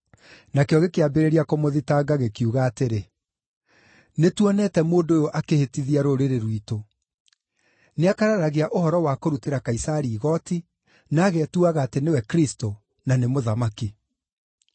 Nakĩo gĩkĩambĩrĩria kũmũthitanga gĩkiuga atĩrĩ, “Nĩtuonete mũndũ ũyũ akĩhĩtithia rũrĩrĩ rwitũ. Nĩakararagia ũhoro wa kũrutĩra Kaisari igooti na agetuaga atĩ nĩwe Kristũ, na nĩ mũthamaki.”